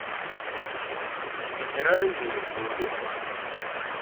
минеральные воды